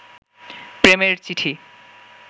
প্রেমের চিঠি